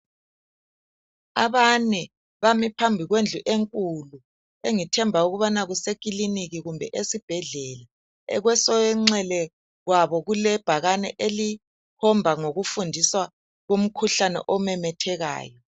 Abane bame phambi kwendlu enkulu engithemba ukubana kuse kiliniki kumbe esibhedlela kwesonxele kwabo kulebhakane elikhomba ngokufundiswa komkhuhlane omemethekayo.